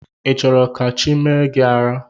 Ị chọrọ ka chi mee gị ara?